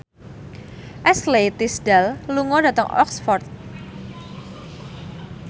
Ashley Tisdale lunga dhateng Oxford